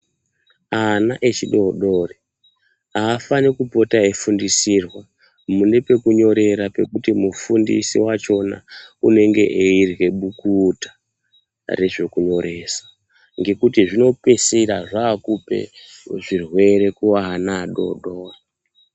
Ana echidodori aafani kupota eifundisirwa mune pekunyorera pekuti mufundisi wachona unenge eirye bukuta rezvekunyoresa. Ngekuti zvinopeisira zvakupa zvirwere kuvana vadodori.